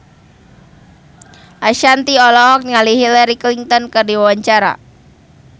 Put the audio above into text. Ashanti olohok ningali Hillary Clinton keur diwawancara